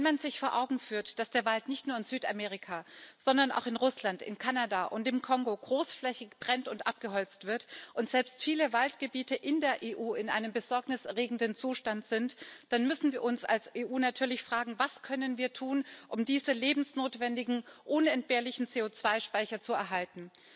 Wenn man sich vor Augen führt, dass der Wald nicht nur in Südamerika, sondern auch in Russland, in Kanada und im Kongo großflächig brennt und abgeholzt wird und selbst viele Waldgebiete in der EU in einem besorgniserregenden Zustand sind, dann müssen wir uns als EU natürlich fragen Was können wir tun, um diese lebensnotwendigen, unentbehrlichen CO2 Speicher zu erhalten?